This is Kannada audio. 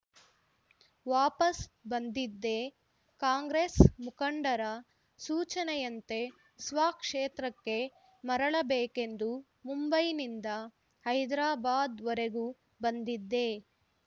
ವಾಪಸ್‌ ಬಂದಿದ್ದೆ ಕಾಂಗ್ರೆಸ್‌ ಮುಖಂಡರ ಸೂಚನೆಯಂತೆ ಸ್ವಕ್ಷೇತ್ರಕ್ಕೆ ಮರಳಬೇಕೆಂದು ಮುಂಬೈನಿಂದ ಹೈದರಾಬಾದ್‌ವರೆಗೂ ಬಂದಿದ್ದೆ